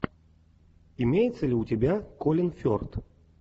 имеется ли у тебя колин ферт